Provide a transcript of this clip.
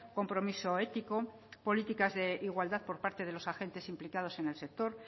compromiso ético políticas de igualdad por parte de los agentes implicados en el sector